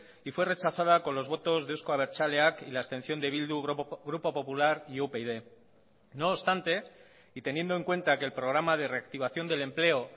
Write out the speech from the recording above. y fue rechazada con los votos de euzko abertzaleak y la abstención de bildu grupo popular y upyd no obstante y teniendo en cuenta que el programa de reactivación del empleo